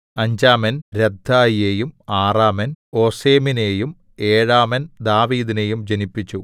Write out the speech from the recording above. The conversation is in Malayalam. അഞ്ചാമൻ രദ്ദായിയെയും ആറാമൻ ഓസെമിനെയും ഏഴാമൻ ദാവീദിനെയും ജനിപ്പിച്ചു